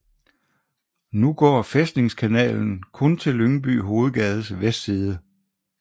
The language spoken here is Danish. Nu går Fæstningskanalen kun til Lyngby Hovedgades vestside